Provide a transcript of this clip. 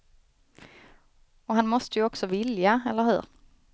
Och han måste ju också vilja, eller hur?